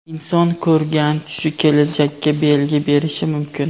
Inson ko‘rgan tushi kelajakka belgi berishi mumkin.